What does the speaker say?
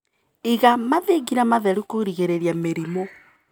Iga mathingira matheru kũgirĩria mĩrimũ.